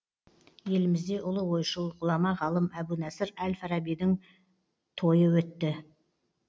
елімізде ұлы ойшыл ғұлама ғалым әбу насыр әл фарабидің тойы өтті